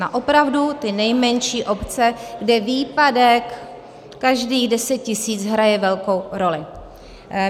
Na opravdu ty nejmenší obce, kde výpadek každých 10 tisíc hraje velkou roli.